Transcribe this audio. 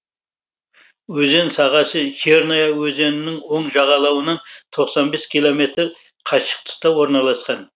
өзен сағасы черная өзенінің оң жағалауынан тоқсан бес километр қашықтықта орналасқан